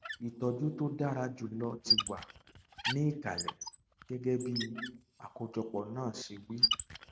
ìtọjú tí ó dára jùlọ ti wà ní ìkàlẹ gẹgẹ bí àkójọpọ náà ṣe wí